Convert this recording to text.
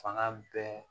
Fanga bɛɛ